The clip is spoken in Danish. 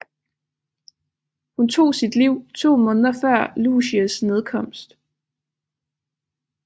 Hun tog sit liv to måneder før Lucies nedkomst